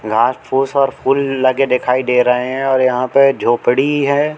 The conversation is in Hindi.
घास फूस और फूल लगे दिखाई दे रहे हैं और यहां पे झोपड़ी है।